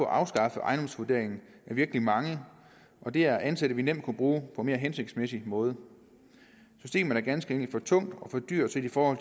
afskaffe ejendomsvurderingen er virkelig mange og det er ansatte vi nemt kunne bruge på en mere hensigtsmæssig måde systemet er ganske for tungt og for dyrt set i forhold